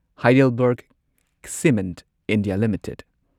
HeidelbergCement India limited